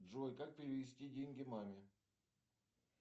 джой как перевести деньги маме